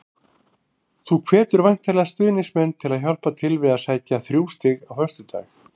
Þú hvetur væntanlega stuðningsmenn til að hjálpa til við að sækja þrjú stig á föstudag?